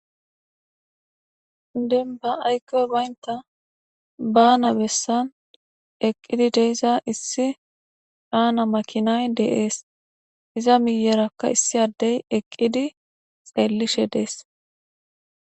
Demba aykkoy baynta baana bessan eqqidi de'iza issi baana makinay de'es; iza miyeeraka issi addey eqqidi xeelishe dees.